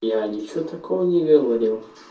я ничего такого не говорил